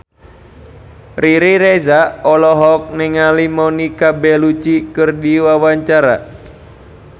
Riri Reza olohok ningali Monica Belluci keur diwawancara